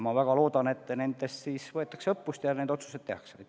Ma väga loodan, et nendest võetakse õppust ja need otsused tehakse.